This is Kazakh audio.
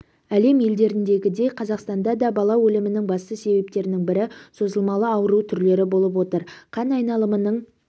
әлем елдеріндегідей қазақстанда да бала өлімнің басты себептерінің бірі созылмалы ауру түрлері болып отыр қан айналымының